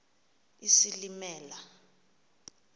isilimela